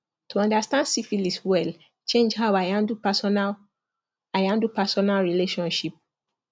to understand syphilis well change how i handle personal i handle personal relationship